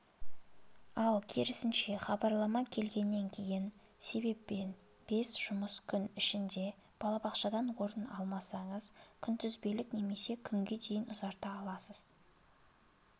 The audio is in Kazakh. ал керісінше хабарлама келгеннен кейін себеппен бес жұмыс күн ішінде балабақшадан орын алмасаңыз күнтізбелік немесе күнге дейін ұзарта аласыз